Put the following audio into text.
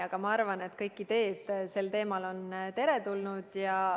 Aga ma arvan, et kõik ideed sel teemal on teretulnud.